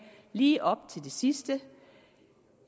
lige op til det sidste